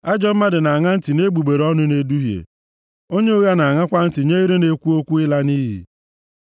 Ajọ mmadụ na-aṅa ntị nʼegbugbere ọnụ na-eduhie, onye ụgha na-aṅakwa ntị nye ire na-ekwu okwu ịla nʼiyi.